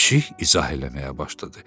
Pişik izah eləməyə başladı.